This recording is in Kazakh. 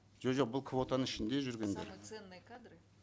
жо жоқ бұл кваотаның ішінде жүргендер самые ценные кадры